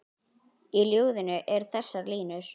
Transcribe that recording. Í ljóðinu eru þessar línur